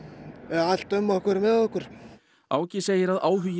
allt um okkur með okkur Áki segir að áhugi